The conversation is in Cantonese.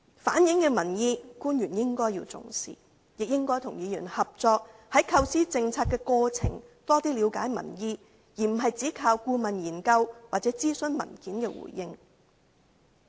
官員應該重視我們反映的民意，亦應該與議員合作，在構思政策的過程中，多了解民意，而並非只靠顧問研究或諮詢文件接獲的回應。